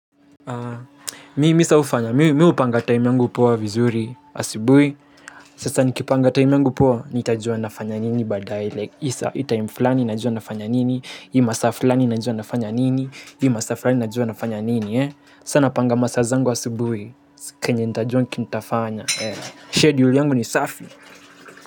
Mimi sa hufanya, mi hupanga time yungu poa vizuri, asibui. Sasa nikipanga time yangu poa, nitajua nafanya nini badar hii taim flani, najua nafanya nini, hii masa fulani, najua nafanya nini, hii masaa fulani, najua nafanya nini. Sa napanga masa zangu asibui, kenye nitajua kinitafanya Schedule yangu ni safi.